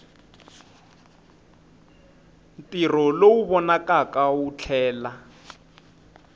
ntirho lowu vonakaka wu tlhela